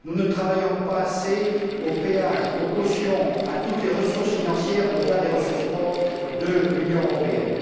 Nous ne réfléchissons pas assez aux péages, aux cautions, à toutes les ressources financières existant au delà des ressources propres de l'Union européenne.